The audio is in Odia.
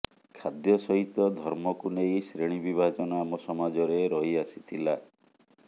ଖାଦ୍ୟ ସହିତ ଧର୍ମକୁ ନେଇ ଶ୍ରେଣୀ ବିଭାଜନ ଆମ ସମାଜରେ ରହିଆସିଥିଲା